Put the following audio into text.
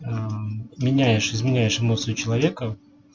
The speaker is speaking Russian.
меняешь изменяешь эмоции у человека